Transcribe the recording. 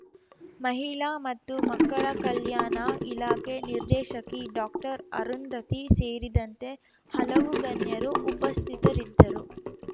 ಮಹಿಳಾ ಮತ್ತು ಮಕ್ಕಳ ಕಲ್ಯಾಣ ಇಲಾಖೆ ನಿರ್ದೇಶಕಿ ಡಾಕ್ಟರ್ ಅರುಂಧತಿ ಸೇರಿದಂತೆ ಹಲವು ಗಣ್ಯರು ಉಪಸ್ಥಿತರಿದ್ದರು